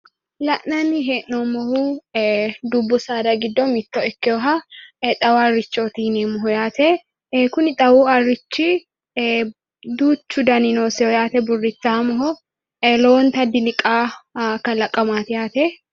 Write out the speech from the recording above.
La'nnani he'noomohu dubbu saada giddo mito ikkewoha xawu harichooti yineemoho yaate, Kuni xawu harichi duuchu dani noosiho yaate buritaamoho yaate lowonta biliqawo kalaqamaati yaate....